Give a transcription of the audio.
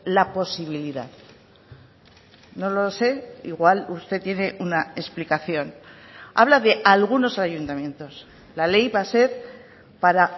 la posibilidad no lo sé igual usted tiene una explicación habla de algunos ayuntamientos la ley va a ser para